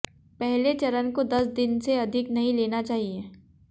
पहले चरण को दस दिन से अधिक नहीं लेना चाहिए